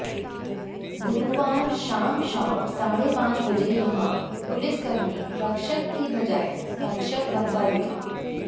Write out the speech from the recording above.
गुरुवार शाम शाम साढ़े पांच बजे यहां पुलिसकर्मी रक्षक के बजाय भक्षक बनता दिखा